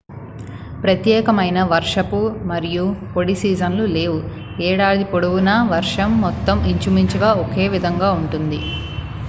"ప్రత్యేకమైన "వర్షపు" మరియు "పొడి" సీజన్లు లేవు: ఏడాది పొడవునా వర్షం మొత్తం ఇంచుమించుగా ఒకే విధంగా ఉంటుంది.